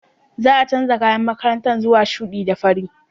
Za a canza kayan makaranta zuwa shuɗi da fari.